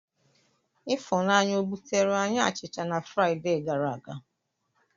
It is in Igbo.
Ifunanya o buteere anyị achịcha na Fraịdee gara aga?